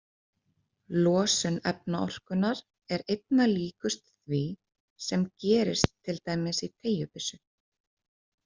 Losun efnaorkunnar er einna líkust því sem gerist til dæmis í teygjubyssu.